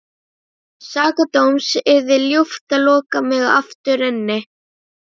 Sakadóms yrði ljúft að loka mig aftur inni.